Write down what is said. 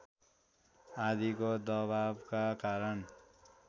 आदिको दबावका कारण